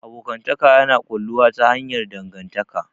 Abokantaka yana ƙulluwa ta hanyar dangantaka.